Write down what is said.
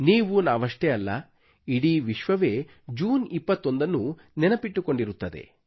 ನೀವುನಾವಷ್ಟೇ ಅಲ್ಲ ಇಡೀ ವಿಶ್ವವೇ ಜೂನ್ 21 ನ್ನು ನೆನಪಿಟ್ಟುಕೊಂಡಿರುತ್ತದೆ